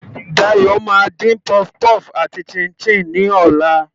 Dayo máa dín puff puff àti chin-chin ní ọ̀la.